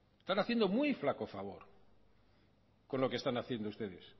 están haciendo muy flaco favor con lo que están haciendo ustedes